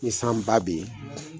Ni san ba be yen